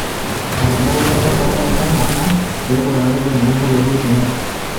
Etabawua olola le dukuya Lamu enaa peebol olarikoni le nkop Uhuru Kenyatta.